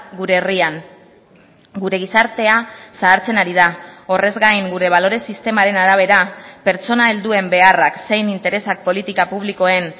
gure herrian gure gizartea zahartzen ari da horrez gain gure balore sistemaren arabera pertsona helduen beharrak zein interesak politika publikoen